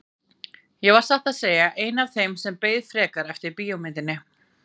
Ég var satt að segja ein af þeim sem beið frekar eftir bíómyndinni.